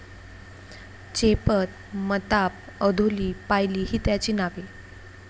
चेपत, मताप, अधोली, पायली, ही त्याची नावे.